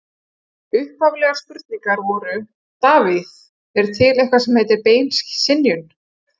Upphaflegar spurningar voru: Davíð: Er til eitthvað sem heitir bein skynjun?